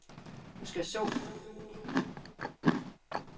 Du skal så som lærlingen genskabe harmonien i halvtreds forskellige verdener.